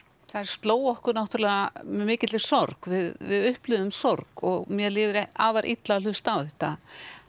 þær slógu okkur náttúrulega með mikilli sorg við upplifðum sorg og mér líður afar illa að hlusta á þetta